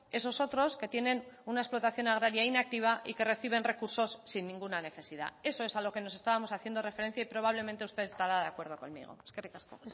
esos otros que tienen una explotación agraria inactiva y que reciben recursos sin ninguna necesidad eso es a lo que nos estábamos haciendo referencia y probablemente usted estará de acuerdo conmigo eskerrik asko